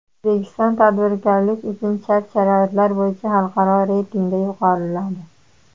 O‘zbekiston tadbirkorlik uchun shart-sharoitlar bo‘yicha xalqaro reytingda yuqoriladi.